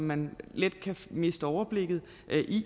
man let kan miste overblikket